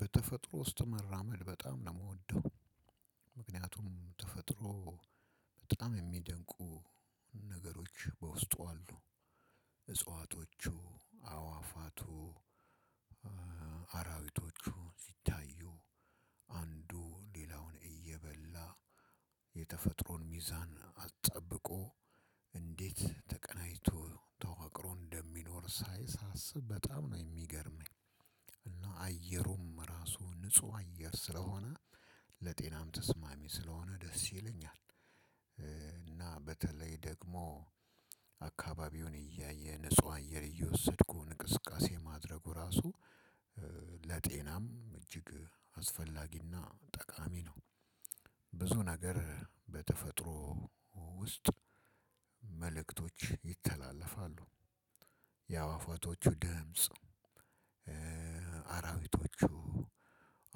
በተፈጥሮ ውስጥ መራመድ በጣም ነው የምወደው። ምክንያቱም ተፈጥሮ በጣም የሚደንቁ ነገሮች በውስጡ አሉ። እጽዋቶቹ አዋፋቱ አራዊቶቹ ሲታዩ አንዱ ሌላውን እየበላ የተፈጥሮን ሚዛን አስጠብቆ እንዴት ተቀናጅቶ ተዋቅሮ እንደሚኖር ሳይ ሳስብ በጣም ነው የሚገርመኝ። እና አየሩም ራሱ ንጹህ አየር ስለሆነ ለጤናም ተስማሚ ስለሆነ ደስ ይለኛል። እና በተለይ ደግሞ አካባቢውን እያየ ንጹህ አየር እየወሰድኩ እንቅስቃሴ ማድረጉ ራሱ ለጤናም እጅግ አስፈላጊና ጠቃሚ ነው። ብዙ ነገር በተፈጥሮ ውስጥ መልእክቶች ይተላለፋሉ። የአእዋፋቶቹ ድምጽ አራዊቶቹ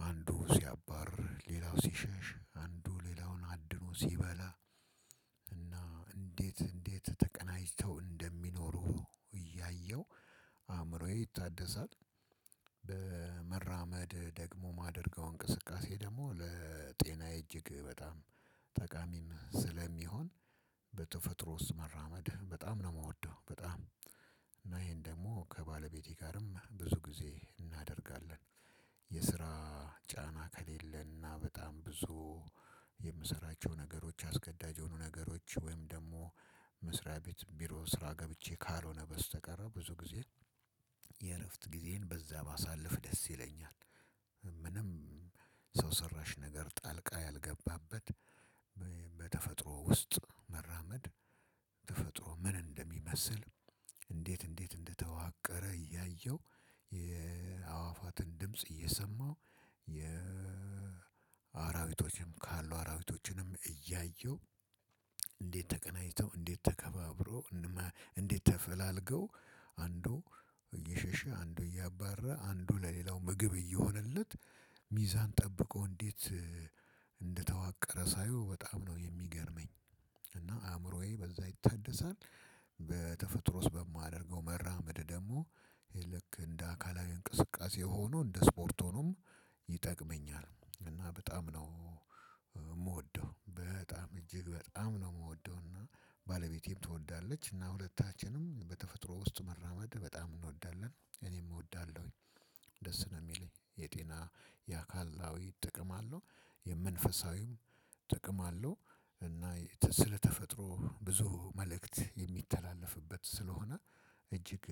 አንዱ ሲያባር ሌላው ሲሸሽ አንዱ ሌላውን አድኖ ሲበላ። እንዴት እንዴት ተቀናጅተው እንደሚኖሩ እያየሁ አእምሮዬ ይታደሳል። መራመድ ደግሞ እማደርገው እንቅስቃሴ ደግሞ ለጤናዬ እጅግ በጣም ጠቃሚም ስለሚሆን በተፈጥሮ ውስጥ መራመት በጣም ነው የምወደው። በጣም እና ይሄን ደግሞ ከባለቤቴ ጋርም ብዙ ጊዜ እናደርጋለን። የስራ ጫና ከሌለና በጣም ብዙ የምሰራቸው ነገሮች አስገዳጅ የሆኑ ነገሮች ወይም ደግሞ መስራት ቤት ቢሮ ስራ ገብቼ ካልሆነ በስተቀር ብዙ ጊዜ የእረፍት ጊዜን በዛ ባሳልፍ ደስ ይለኛል። ምንም ሰው ሰራሽ ነገር ጣልቃ ያልገባበት በተፈጥሮ ውስጥ መራመድ። ተፈጥሮ ምን እንደሚመስል እንዴት እንዴት እንደተዋቀረ እያየሁ የአዋፋትን ድምጽ እየሰማሁ የአራዊቶችም ካሉ አራዊቶችንም እያየው እንዴት ተገናኝተው እንዴት ተከባብረው እንዴት ተፈላልገው አንዱ እየሸሸ አንዱ እያባረረ አንዱ ለሌላው ምግብ እየሆነለት ሚዛን ጠብቆ እንዴት እንደተዋ ሳየው በጣም ነው የሚገርመኝ። እና አእምሮዬ በዛ ይታደሳል። በተፈጥሮ ውስጥ በማደርገው መራመድ ደግሞ ይሄ ልክ እንደ አካላዊ እንቅስቃሴ ሆኖ እንደ ስፖርት ሆኖም ይጠቅመኛል እና በጣም ነው። የምወደው በጣም እጅግ በጣም ነው የምወደውና ባለቤቴም ትወዳለች እና ሁለታችንም በተፈጥሮ ውስጥ መራመድ በጣም እንወዳለን እኔም እወዳለሁኝ። ደስ ነው የሚለኝ የጤና የአካላዊ ጥቅም አለው የመንፈሳዊም ጥቅም አለው። እና ስለተፈጥሮ ብዙ መልእክት የሚተላለፍበት ስለሆነ እጅግ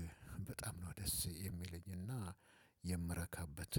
በጣም ነው ደስ የሚለኝና የምረካበት።